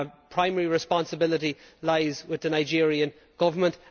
Primary responsibility lies with the Nigerian government.